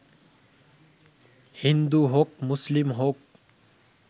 হিন্দু হোক মুসলিম হোক